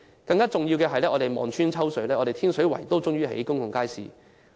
更重要的是，我們望穿秋水，終於看到天水圍興建公共街市。